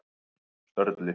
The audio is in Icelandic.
Sörli